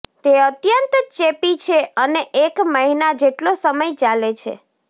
તે અત્યંત ચેપી છે અને એક મહિના જેટલો સમય ચાલે છે